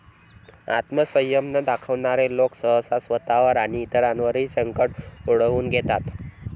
आत्मसंयम न दाखवणारे लोक सहसा स्वतःवर आणि इतरांवरही संकट ओढवून घेतात.